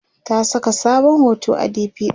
ta Saka sabon hoto a DP ɗinta